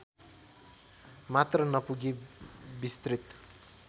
मात्र नपुगी विस्तृत